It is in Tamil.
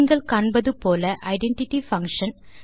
நீங்கள் காணப்போவது போல ஐடென்டிட்டி பங்ஷன்